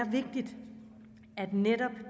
netop